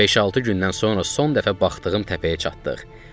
Beş-altı gündən sonra son dəfə baxdığım təpəyə çatdıq.